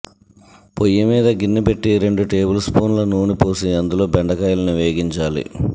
పొయ్యి మీద గిన్నె పెట్టి రెండు టేబుల్ స్పూన్ల నూనె పోసి అందులో బెండకాయల్ని వేగించాలి